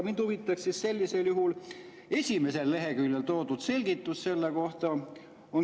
Mind huvitaks sellisel juhul esimesel leheküljel toodud selgitus selle kohta.